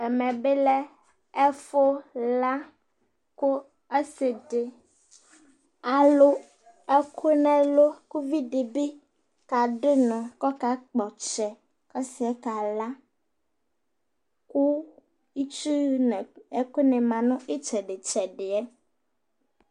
ɛmɛ bi lɛ ɛfu la kò ɔse di alo ɛkò n'ɛlu k'uvi di bi kado unɔ k'ɔka kpɔ ɔtsɛ k'ɔsiɛ kala kò itsu n'ɛkò ni ma n'itsɛdi tsɛdiɛ